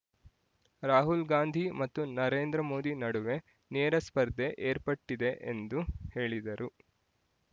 ರಾಹುಲ್‌ಗಾಂಧಿ ಮತ್ತು ನರೇಂದ್ರಮೋದಿ ನಡುವೆ ನೇರ ಸ್ಪರ್ಧೆ ಏರ್ಪಟ್ಟಿದೆ ಎಂದು ಹೇಳಿದರು